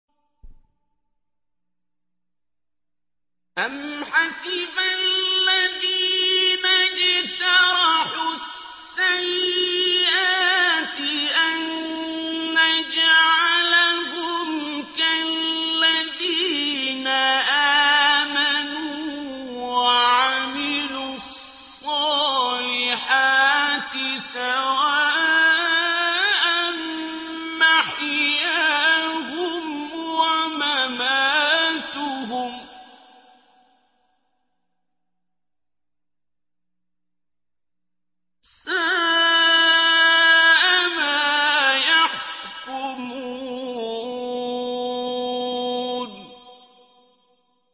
أَمْ حَسِبَ الَّذِينَ اجْتَرَحُوا السَّيِّئَاتِ أَن نَّجْعَلَهُمْ كَالَّذِينَ آمَنُوا وَعَمِلُوا الصَّالِحَاتِ سَوَاءً مَّحْيَاهُمْ وَمَمَاتُهُمْ ۚ سَاءَ مَا يَحْكُمُونَ